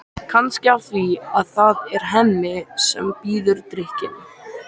Kannski af því að það er Hemmi sem býður drykkinn.